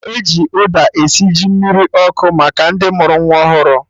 E ji ụda esi ji mmiri ọkụ maka ndị mụrụ nwa ọhụrụ